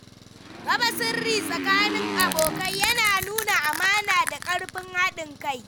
Raba sirri tsakanin abokai yana nuna amana da ƙarfin haɗin kai.